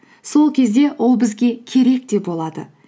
сол кезде ол бізге керек те болады